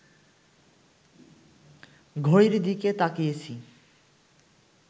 ঘড়ির দিকে তাকিয়েছি